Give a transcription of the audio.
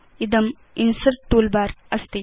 इदं insert toolbar अस्ति